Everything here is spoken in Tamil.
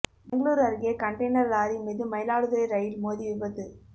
பெங்களூரு அருகே கன்டெய்னர் லாரி மீது மயிலாடுதுறை ரயில் மோதி விபத்து